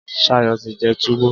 Sayo ti jẹ túwó.